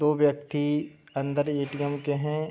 दो व्यक्ति अन्दर ए.टी.एम. के हैं।